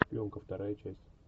елка вторая часть